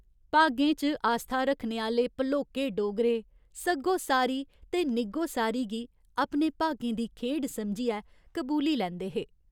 भागें च आस्था रक्खने आह्‌ले भलोके डोगरे सग्गोसारी ते निग्गोसारी गी अपने भागें दी खेढ समझियै कबूली लैंदे हे।